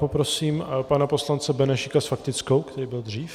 Poprosím pana poslance Benešíka s faktickou, který byl dřív.